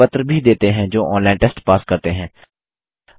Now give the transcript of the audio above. उनको प्रमाण पत्र भी देते हैं जो ऑनलाइन टेस्ट पास करते हैं